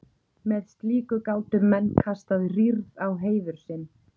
með slíku gátu menn kastað rýrð á heiður sinn